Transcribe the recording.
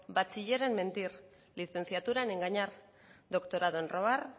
bachiller en mentir licenciatura en engañar doctorado en robar